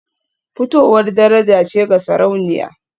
Fitowar daraja ce ga Sarauniya